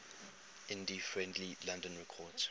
indie friendly london records